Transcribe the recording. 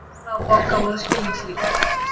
Vala og Bogga voru skilningsríkari.